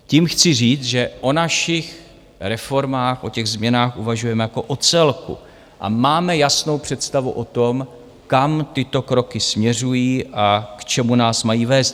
Tím chci říct, že o našich reformách, o těch změnách, uvažujeme jako o celku a máme jasnou představu o tom, kam tyto kroky směřují a k čemu nás mají vést.